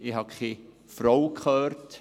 Ich habe keine Frau gehört.